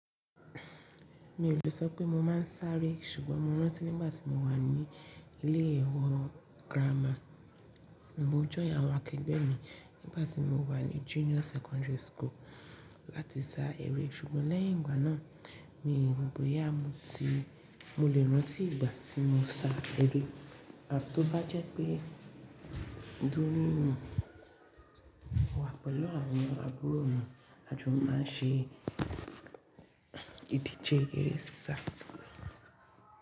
Mi ò lè sọ pé mo máa ń sáré, ṣùgbọ́n mo rántí nígbà tí mo wà ní ilé iwe girama, mo join àwọn akẹgbẹ́ mi nígbà tí mo wà ní Junior Secondary School láti sá eré, ṣùgbọ́n lẹ́yìn ìgbà náà, mi ò rò bóyá mo ti, mo lè rántí ìgbà tí mo sa eré. Tí ó bá jẹ́ pé dúrú mo wà pẹ̀lú àwọn arúgbó mi, a jù máa ń ṣe ìdíje eré sísá.